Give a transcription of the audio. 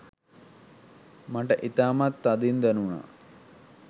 මට ඉතාමත් තදින් දැනුනා